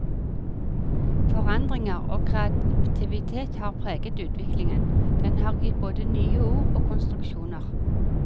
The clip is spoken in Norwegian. Forandringer og kreativitet har preget utviklingen, den har gitt både nye ord og konstruksjoner.